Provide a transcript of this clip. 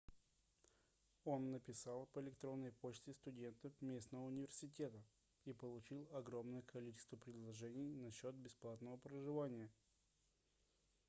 он написал по электронной почте студентам местного университета и получил огромное количество предложений насчёт бесплатного проживания